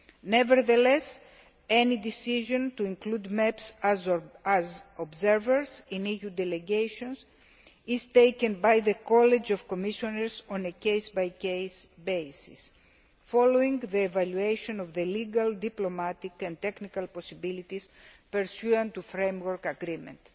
Nevertheless, any decision to include MEPs as observers in EU delegations is taken by the College of Commissioners on a case by case basis following the evaluation of the legal, diplomatic and technical possibilities pursuant to the Framework Agreement.